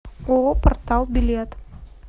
ооо портал билет